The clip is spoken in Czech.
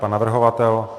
Pan navrhovatel?